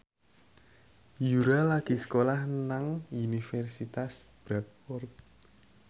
Yura lagi sekolah nang Universitas Bradford